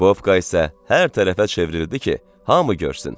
Bobka isə hər tərəfə çevrildi ki, hamı görsün.